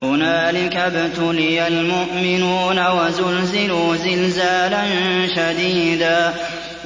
هُنَالِكَ ابْتُلِيَ الْمُؤْمِنُونَ وَزُلْزِلُوا زِلْزَالًا شَدِيدًا